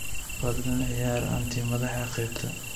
fadlan ciyaar aunty madaxa qaybta